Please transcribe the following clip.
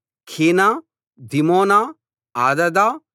కీనా దిమోనా అదాదా